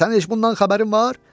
Sənin heç bundan xəbərin var?